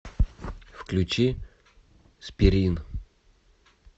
включи спирин